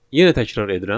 Yenə təkrar edirəm.